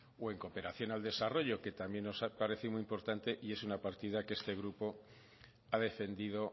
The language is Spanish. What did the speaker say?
o en cooperación al desarrollo que también nos parece muy importante y es una partida que este grupo ha defendido